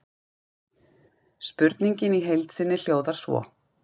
Spurningin í heild sinni hljóðar svo: